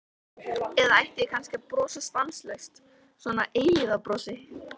Eða ætti ég kannski að brosa stanslaust, svona eilífðarbrosi?